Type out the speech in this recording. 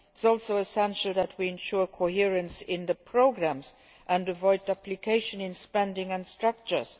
It is also essential that we ensure coherence in the programmes and avoid duplication in spending and structures.